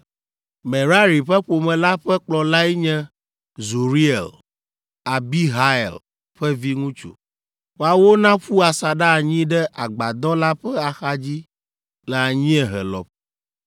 Merari ƒe ƒome la ƒe kplɔlae nye Zuriel, Abihail ƒe viŋutsu; woawo naƒu asaɖa anyi ɖe agbadɔ la ƒe axadzi le anyiehe lɔƒo.